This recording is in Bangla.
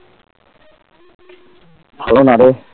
ভালো নারে